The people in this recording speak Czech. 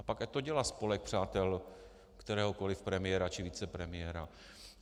A pak ať to dělá spolek přátel kteréhokoli premiéra či vicepremiéra.